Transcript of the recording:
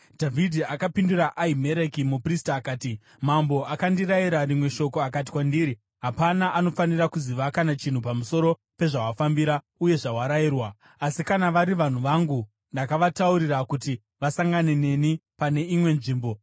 Dhavhidhi akapindura Ahimereki muprista akati, “Mambo akandirayira rimwe shoko akati kwandiri, ‘Hapana anofanira kuziva kana chinhu pamusoro pezvawafambira uye zvawarayirwa.’ Asi kana vari vanhu vangu, ndakavataurira kuti vasangane neni pane imwe nzvimbo.